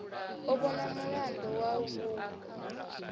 a vhonwa mulandu wa vhuṅwe